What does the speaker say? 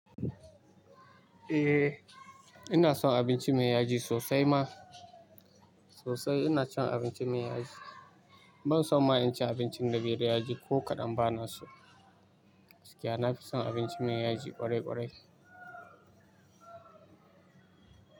Eh ina son abinci mai yaji sosai ma sosai. Ina cin abinci mai yaji. Ban son ma in ci abincin da bai da yaji ko kaɗan ba na so. Gaskiya nafison abinci mai yaji ƙwarai ƙwarai.